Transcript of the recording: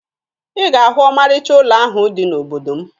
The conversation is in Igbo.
Ị ga-ahụ ọmarịcha ụlọ ahụ dị n'obodo m